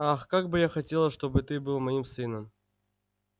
ах как бы я хотела чтобы ты был моим сыном